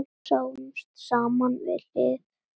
Sátum saman hlið við hlið.